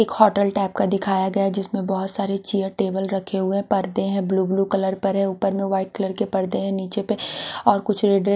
एक hotel type का दिखाया गया जिसमें बहुत सारे चेयर टेबल रखे हुए पर्दे हैं ब्लू ब्लू कलर पर हैं ऊपर वाइट कलर के पर्दे हैं नीचे पर और कुछ--